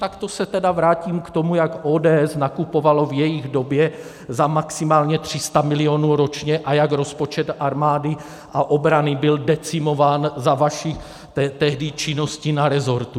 Tak to se tedy vrátím k tomu, jak ODS nakupovala v jejich době za maximálně 300 milionů ročně a jak rozpočet armády a obrany byl decimován za vaší tehdy činnosti na resortu.